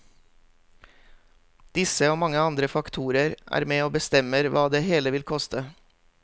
Disse og mange andre faktorer er med å bestemmer hva det hele vil koste.